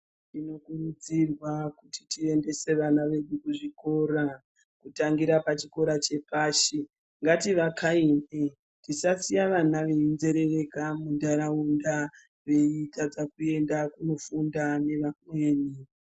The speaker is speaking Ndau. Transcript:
Tinokurudzirwa kuti tiendese vana vedu kuzvikora kutangira pachikora chepashi ngativakainde tisasiya ana einzerereka veitadza kofunda neamweni.